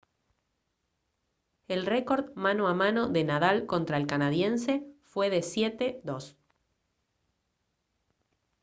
el récord mano a mano de nadal contra el canadiense fue de 7-2